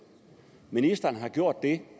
ministeren har gjort det